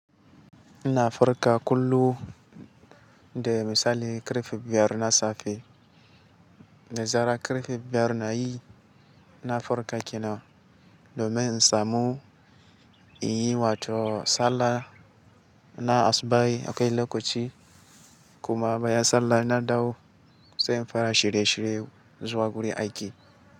Ina farka kullum, dai misali karfe biyar na safe. Dazara karfe biyar nayi, na farka kenan, domin in samu in yi wato sallah na asubahi akan lokaci kuma bayan sallah inna dawo sai in fara shirye shirye zuwa gurin aiki.